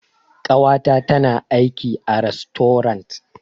Ƙawata tana aiki a rastorant.